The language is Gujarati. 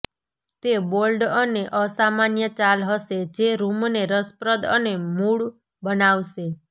તે બોલ્ડ અને અસામાન્ય ચાલ હશે જે રૂમને રસપ્રદ અને મૂળ બનાવશે